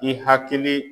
I hakili